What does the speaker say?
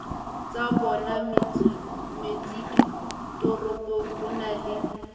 tsabona metseditoropong ho na le